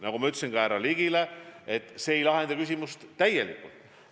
Nagu ma tunnistasin ka härra Ligile, see ei lahenda küsimust täielikult.